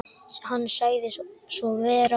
Hann sagði svo vera.